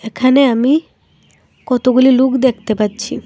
এখানে আমি কতগুলি লুক দেখতে পাচ্ছি।